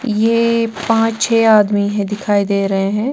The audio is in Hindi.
ये पांच छह आदमी हैं दिखाई दे रहे हैं।